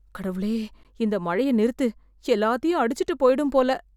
கடவுளே, இந்த மழைய நிறுத்து. எல்லாத்தையும் அடிச்சுட்டு போய்டும் போல.